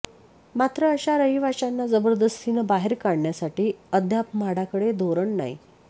मात्र अशा रहिवाशांना जबरदस्तीने बाहेर काढण्यासाठी अद्याप म्हाडाकडे धोरण नाही